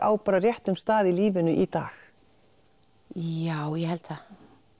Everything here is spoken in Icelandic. á réttum stað í lífinu í dag já ég held það